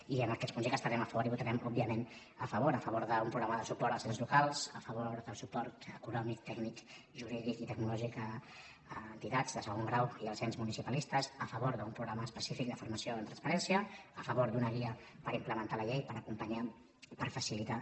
i d’aquests punts dir que hi estarem a favor i hi votarem òbviament a favor a favor d’un programa de suport als ens locals a favor del suport econòmic tècnic jurídic i tecnològic a entitats de segon grau i als ens municipalistes a favor d’un programa específic de formació en transparència a favor d’una guia per implementar la llei per acompanyar per facilitar